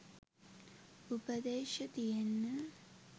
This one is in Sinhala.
උපදේශ තියෙන්නෙ